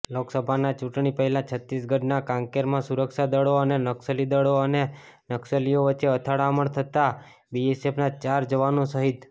લોકસભાના ચૂંટણી પહેલાં છત્તીસગઢના કાંકેરમાં સુરક્ષાદળો અને નકસલીઓ વચ્ચે અથડામણ થતા બીએસએફના ચાર જવાનો શહિદ